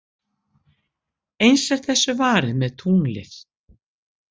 Eins er þessu varið með tunglið.